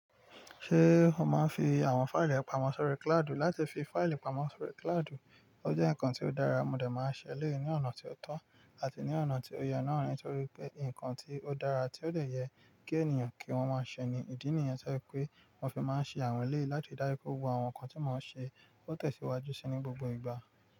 Ṣé o máa ń fi àwọn fáìlì re pamọ́ sórí kláádù? Láti fi fáìlì pamọ́ sórí kláádù, ó jẹ́ nǹkan tí ó dára, mo de máa ń ṣẹ elẹ̀yi ní ọ̀nà tó tọ́ àti ní ọ̀nà tí ó yẹ náà nítorí pé ǹkan tí ó dára tí ó lè yẹ kí ènìyàn kí wọ́n máa ṣẹ ni ìdí nìyen to yẹ pé wọ́n fi máa ń ṣẹ àwọn eléyi láti ridaju pe gbogbo àwọn ǹkan tí mọ́ n ṣe ó tẹ̀síwájú ṣi ní gbogbo ìgbà.